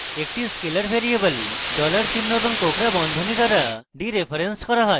একটি scalar variable $চিহ্ন এবং কোঁকড়া বন্ধনী দ্বারা ডিরেফারেন্স করা হয়